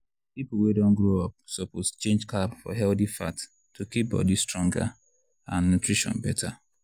people wey don grow up suppose change carb for healthy fat to keep body stronger and nutrition better.